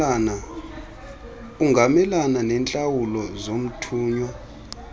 ungamelana neentlawulo zomthunywa